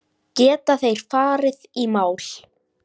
Geta þeir farið í mál?